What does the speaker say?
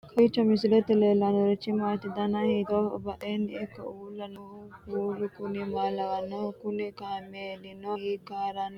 kowiicho misilete leellanorichi maati ? dana hiittooho ?badhhenni ikko uulla noohu kuulu kuni maa lawannoho? kuni kaamelino hiikka haranni nooikka